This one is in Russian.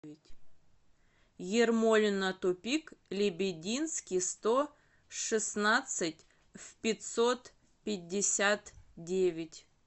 ермолино тупик лебединский сто шестнадцать в пятьсот пятьдесят девять